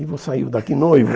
E vou sair daqui noivo.